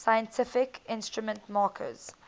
scientific instrument makers